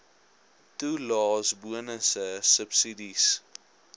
toelaes bonusse subsidies